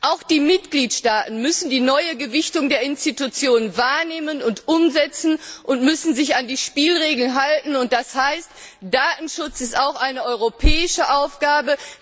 Auch die Mitgliedstaaten müssen die neue Gewichtung der Institutionen wahrnehmen und umsetzen und müssen sich an die Spielregeln halten und das heißt Datenschutz ist auch eine europäische Aufgabe.